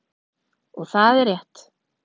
Og það er rétt.